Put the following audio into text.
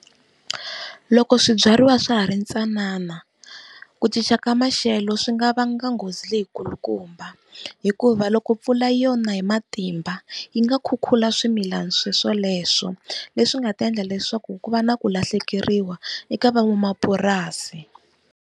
Loko swibyariwa swa ha ri ntsanana ku cinca ka maxelo swi nga vanga nghozi leyi kulukumba, Hikuva loko mpfula yo na hi matimba yi nga khukhula swimilana swoswoleswo. Leswi nga ta endla leswaku ku va na ku lahlekeriwa eka van'wamapurasi.